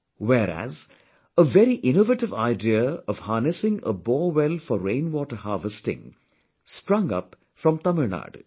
Whereas, a very innovative idea of harnessing a borewell for rainwater harvesting sprung up from Tamilnadu